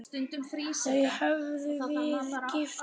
Þau höfðu verið gift í